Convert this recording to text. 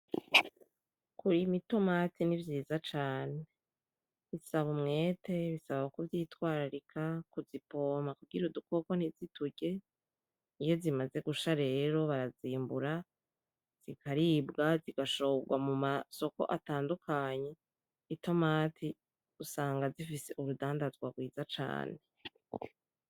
Kurima Itomati nivyiza cane bisaba umwete ,bisaba kuzitwararika , kuzipompa kugirango udukoko ntiziturye. iyo zimaze gusha rero barazimbura zikaribwa zigashorwa mu masoko atandukanye itomati usanga zifise urudandazwa rwiza cane.